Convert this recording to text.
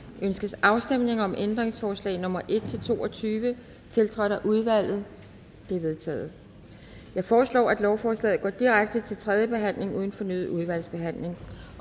ønskes afstemning om ændringsforslag nummer en to og tyve tiltrådt af udvalget de er vedtaget jeg foreslår at lovforslaget går direkte til tredje behandling uden fornyet udvalgsbehandling